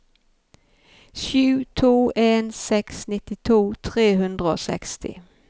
sju to en seks nittito tre hundre og seksti